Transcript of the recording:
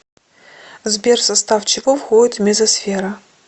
сбер в состав чего входит мезосфера